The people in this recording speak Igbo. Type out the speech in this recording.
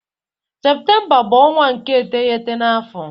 Septemba bu onwa nke iteghete na afo